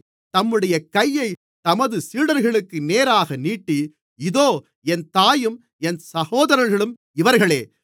தம்முடைய கையைத் தமது சீடர்களுக்கு நேராக நீட்டி இதோ என் தாயும் என் சகோதரர்களும் இவர்களே